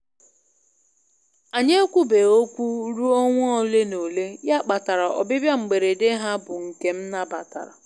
Anyị e kwubeghi okwu ruo ọnwa ole na ole, ya kpatara ọbịbịa mberede ha bụ nke m nabatara